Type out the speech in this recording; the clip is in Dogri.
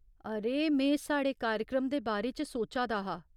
अरे, में साढ़े कार्यक्रम दे बारे च सोचा दा हा।